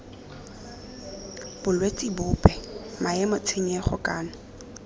bolwetse bope maemo tshenyego kana